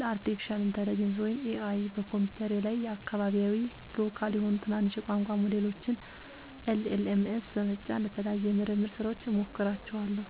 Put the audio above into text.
ለአርቲፊሻል ኢንተለጀንስ (AI) በኮምፒውተሬ ላይ አካባቢያዊ (local) የሆኑ ትናንሽ የቋንቋ ሞዴሎችን (LLMs) በመጫን ለተለያዩ የምርምር ሥራዎች እሞክራቸዋለሁ።